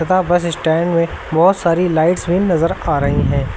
तथा bus stand में बहुत सारी लाइट्स भी नजर आ रही हैं।